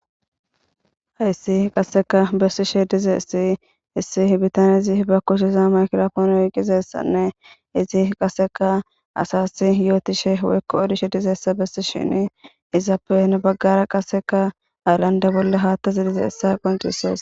hayssi qasseka bersishe dizessi issi bitan izi ba kushiza maykilafoon woiqizessanne izi qaseka asasi yootishe wekko odishe dizessa bessi shin izappen baggara qaseka alanda bolle haattazidize issa qontises